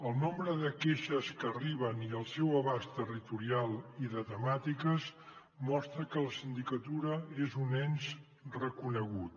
el nombre de queixes que arriben i el seu abast territorial i de temàtiques mostra que la sindicatura és un ens reconegut